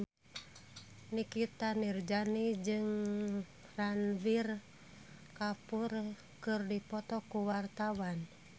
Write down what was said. Nikita Mirzani jeung Ranbir Kapoor keur dipoto ku wartawan